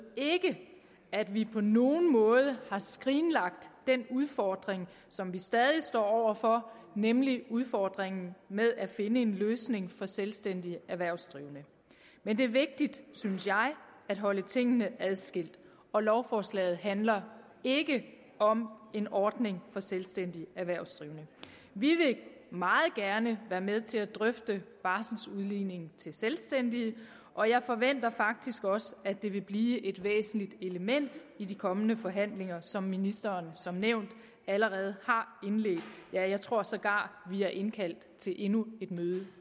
ikke at vi på nogen måde har skrinlagt den udfordring som vi stadig står over for nemlig udfordringen med at finde en løsning for selvstændige erhvervsdrivende men det er vigtigt synes jeg at holde tingene adskilt og lovforslaget handler ikke om en ordning for selvstændige erhvervsdrivende vi vil meget gerne være med til at drøfte barseludligning til selvstændige og jeg forventer faktisk også at det vil blive et væsentligt element i de kommende forhandlinger som ministeren som nævnt allerede har indledt ja jeg tror sågar at vi er indkaldt til endnu et møde